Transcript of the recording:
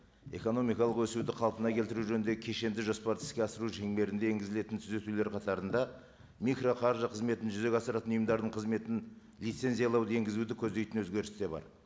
экономикалық өсуді қалпына келтіру жөніндегі кешенді жоспарды іске асыру шеңберінде енгізілетін түзетулер қатарында микроқаржы қызметін жүзеге асыратын ұйымдардың қызметін лицензиялауды енгізуді көздейтін өзгеріс те бар